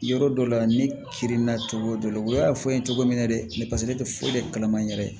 Yɔrɔ dɔ la ne kirinna cogo dɔ la u y'a fɔ n ye cogo min na dɛ paseke ne tɛ foyi de kalama n yɛrɛ ye